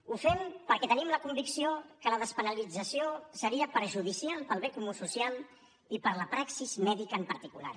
ho fem perquè tenim la convicció que la despenalització seria perjudicial per al bé comú social i per a la praxi mèdica en particular